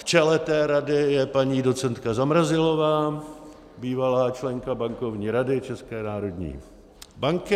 V čele té rady je paní docentka Zamrazilová, bývalá členka Bankovní rady České národní banky.